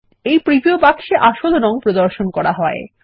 প্রথম প্রিভিউ বাক্স এ আসল রং প্রদর্শন করা হয়